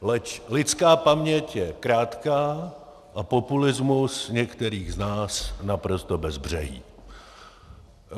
Leč lidská paměť je krátká a populismus některých z nás naprosto bezbřehý.